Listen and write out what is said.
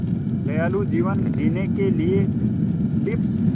दयालु जीवन जीने के लिए टिप्स